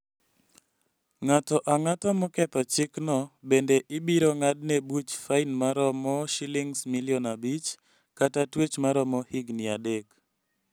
Ng'ato ang'ata moketho chikno bende ibiro ng'adne buch fain maromo Sh5 million kata tuech maromo higni adek.